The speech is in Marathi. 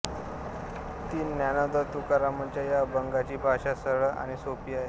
ती ज्ञानोबातुकारामांच्या या अभंगाची भाषा सरळ आणि सोपी आहे